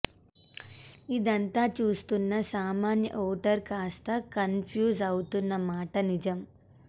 ఇదంతా చూస్తున్న సామాన్య ఓటరు కాస్త కన్ఫ్యూజ్ అవుతున్న మాట నిజం